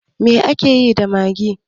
Me akeyi da maggi?